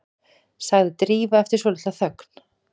sagði Drífa eftir svolitla þögn.